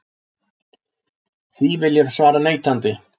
Því vil ég svara neitandi.